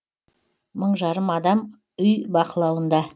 мың жарым адам үй бақылауында